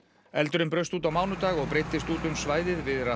eldurinn braust út á mánudag og breiddist út um svæðið við